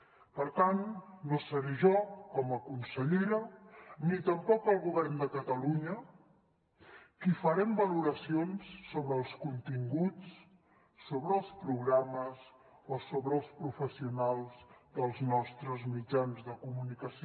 per tant no seré jo com a consellera ni tampoc el govern de catalunya qui farem valoracions sobre els continguts sobre els programes o sobre els professionals dels nostres mitjans de comunicació